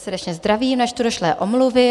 Srdečně zdravím, načtu došlé omluvy.